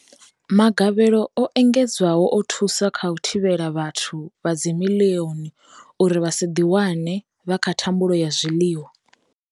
Magavhelo o engedzwaho o thusa kha u thivhela vhathu vha dzimiḽioni uri vha si ḓiwane vha kha thambulo ya zwiḽiwa.